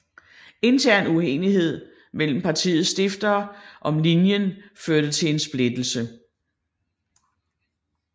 Intern uenighed mellem partiets stiftere om linjen førte til en splittelse